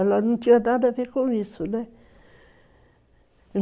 Ela não tinha nada a ver com isso, né?